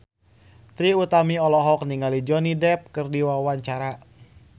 Trie Utami olohok ningali Johnny Depp keur diwawancara